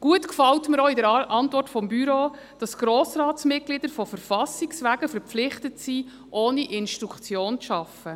Gut gefällt mir an der Antwort des Büros, das Grossratsmitglieder von verfassungswegen verpflichtet sind, ohne Instruktionen zu arbeiten.